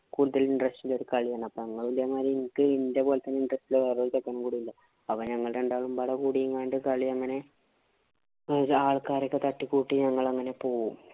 കൂടുതല്‍ interest കളിയാണ്‌. അപ്പൊ ഞങ്ങള് ഇതേമാതിരി എനിക്ക് ഇന്‍ഡ്യ പോലെ തന്നെ വേറെ ഒരു ചെക്കന്‍ കൂടിയുണ്ട്. അപ്പൊ ഞങ്ങള് രണ്ടാളും ഇബടെ കൂടിയെങ്ങാണ്ട് കളി ഇങ്ങനെ ആള്‍ക്കാരെ ഒക്കെ തട്ടി കൂട്ടി ഞങ്ങള് അങ്ങനെ പോവും.